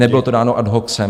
Nebylo to dáno ad hoc.